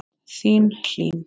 Þín, Hlín.